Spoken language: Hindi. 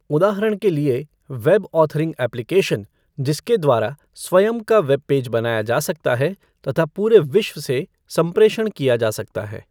उदाहरण के लिए वैब औथरिंग एप्लीकेशन जिसके द्वारा स्वयं का वैब पेज बनाया जा सकता है तथा पूरे विश्व से संप्रेषण किया जा सकता है।